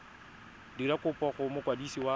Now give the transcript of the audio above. dira kopo go mokwadisi wa